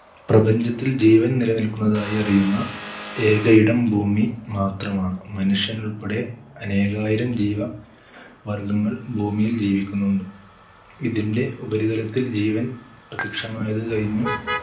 പ്രപഞ്ചത്തിൽ ജീവൻ നിലനിൽക്കുന്നതായി അറിയുന്ന ഏക ഇടം ഭൂമി മാത്രമാണ് മനുഷ്യൻ ഉൾപ്പെടെ അനേകായിരം ജീവ വർഗങ്ങൾ ഭൂമിയിൽ ജീവിക്കുന്നുണ്ട്. ഇതിന്റെ ഉപരിതലത്തിൽ ജീവൻ പ്രത്യക്ഷമായത് കഴിഞ്ഞു